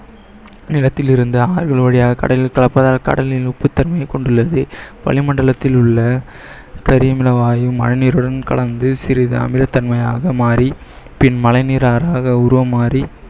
நிலத்திலிருந்து ஆறுகள் வழியாக கடலில் கலப்பதால் கடலில் உப்புத்தன்மை கொண்டுள்ளது, வளிமண்டலத்தில் உள்ள கரியமில வாயுவும் மழை நீருடன் கலந்து சிறிது அமிலத்தன்மையாக மாறி பின் மழை நீராக அது உருமாறி